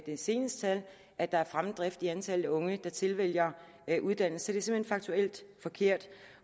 de seneste tal at der er fremdrift i antallet af unge der tilvælger en uddannelse så hen faktuelt forkert